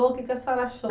o que que a senhora achou?